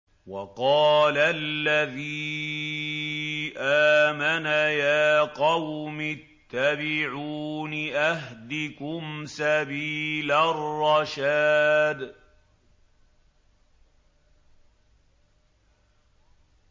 وَقَالَ الَّذِي آمَنَ يَا قَوْمِ اتَّبِعُونِ أَهْدِكُمْ سَبِيلَ الرَّشَادِ